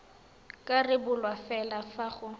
ka rebolwa fela fa go